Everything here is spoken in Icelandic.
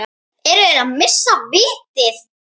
Eru þeir að missa vitið?